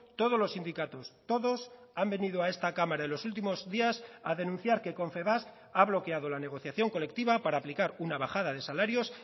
todos los sindicatos todos han venido a esta cámara en los últimos días a denunciar que confebask ha bloqueado la negociación colectiva para aplicar una bajada de salarios